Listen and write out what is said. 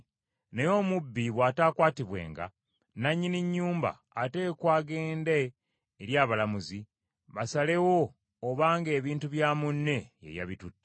Naye omubbi bw’ataakwatibwenga, nannyini nnyumba ateekwa agende eri abalamuzi, basalewo obanga ebintu bya munne ye yabitutte.